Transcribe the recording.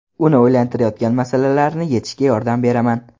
Uni o‘ylantirayotgan masalalarni yechishga yordam beraman.